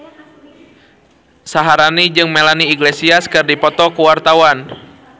Syaharani jeung Melanie Iglesias keur dipoto ku wartawan